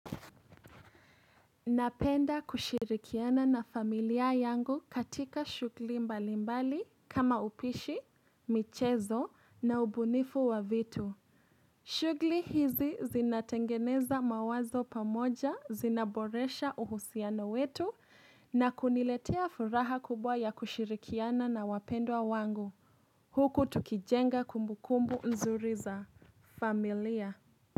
Napenda kushirikiana na familia yangu katika shugli mbalimbali kama upishi, michezo na ubunifu wa vitu. Shugli hizi zinatengeneza mawazo pamoja, zinaboresha uhusiano wetu na kuniletea furaha kubwa ya kushirikiana na wapendwa wangu. Huku tukijenga kumbukumbu nzuri za familia.